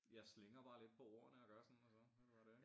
Jeg slingrer bare lidt på ordene og gør sådan og sådan så det bare det